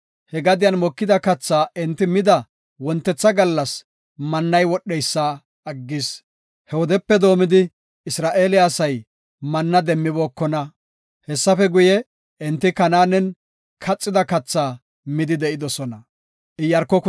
He gadiyan mokida kathaa enti mida wontetha gallas mannay wodheysa aggis. He wodepe doomidi Isra7eele asay manna demmibookona. Hessafe guye, enti Kanaanen kaxida katha midi de7idosona.